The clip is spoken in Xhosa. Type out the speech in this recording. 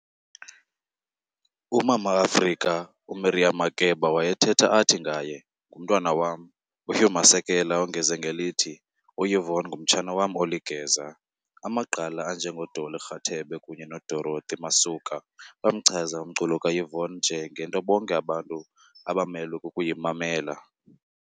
U"Mama Africa", uMiriam Makeba wayethetha athi ngaye "Ngumntwana wam!", uHugh Masekela ongeze ngelithi uYvonne ng"umtshana wam oligeza". Amagqala anje ngoDolly Rathebe kunye noDorothy Masuka bamchaza umculo kaYvonne nje "ngento bonke abantu abamelwe kukuyimanmela".